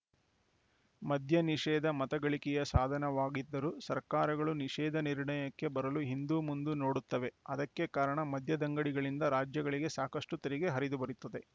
ಮದ್ಯ ನಿಷೇಧ ಮತ ಗಳಿಕೆಯ ಸಾಧನವಾಗಿದ್ದರೂ ಸರ್ಕಾರಗಳು ನಿಷೇಧ ನಿರ್ಣಯಕ್ಕೆ ಬರಲು ಹಿಂದುಮುಂದು ನೋಡುತ್ತವೆ ಅದಕ್ಕೆ ಕಾರಣ ಮದ್ಯದಂಗಡಿಗಳಿಂದ ರಾಜ್ಯಗಳಿಗೆ ಸಾಕಷ್ಟುತೆರಿಗೆ ಹರಿದುಬರುತ್ತದೆ